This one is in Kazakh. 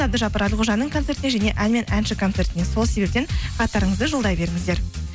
әбдіжаппар әлқожаның концертіне және ән мен әнші концертіне сол себептен хаттарыңызды жолдай беріңіздер